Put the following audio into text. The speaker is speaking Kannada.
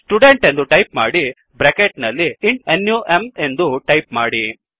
ಸ್ಟುಡೆಂಟ್ ಎಂದು ಟೈಪ್ ಮಾಡಿ ಬ್ರ್ಯಾಕೆಟ್ ನಲ್ಲಿ ಇಂಟ್ ನಮ್ ಎಂದು ಟೈಪ್ ಮಾಡಿ